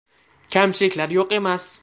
Kamchiliklar yo‘q emas.